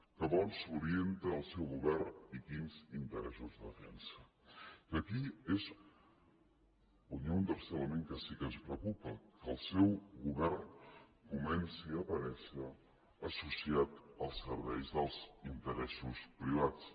cap a on s’orienta el seu govern i quins interessos defensa i aquí és on hi ha un tercer element que sí que ens preocupa que el seu govern comenci a aparèixer associat al servei dels interessos privats